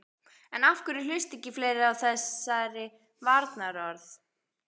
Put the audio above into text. En af hverju hlusta ekki fleiri á þessari varnarorð?